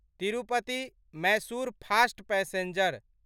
Tirupati Mysore fast passenger